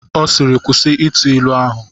Ọ sịịrị, kwụsị ịtụ ilu ahụ!